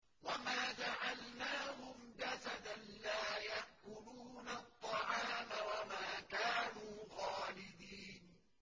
وَمَا جَعَلْنَاهُمْ جَسَدًا لَّا يَأْكُلُونَ الطَّعَامَ وَمَا كَانُوا خَالِدِينَ